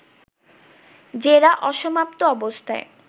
জেরা অসমাপ্ত অবস্থায়